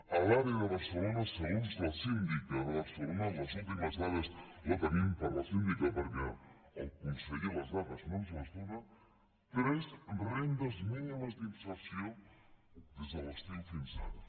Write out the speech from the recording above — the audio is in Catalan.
a l’àrea de barcelona segons la síndica de barcelona les últimes dades les tenim per la síndica perquè el conseller les dades no ens les dóna tres rendes mínimes d’inserció des de l’estiu fins ara